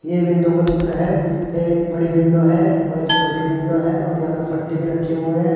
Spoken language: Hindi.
ये विंडो का चित्र है ये बड़ी विंडो है और एक छोटी विंडो है और यहां पे फट्टे भी रखे हुए हैं।